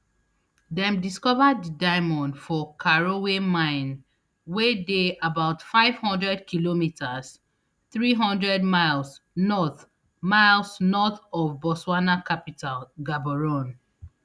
dem discover di diamond for karowe mine wey dey about five hundredkm three hundred miles north miles north of botswana capital gaborone